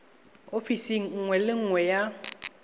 ofising nngwe le nngwe ya